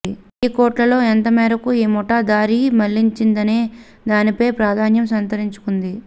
వెయ్యి కోట్లలో ఎంత మేరకు ఈ ముఠా దారి మళ్లించిందనే దానిపై ప్రాధాన్యం సంతరించుకొంది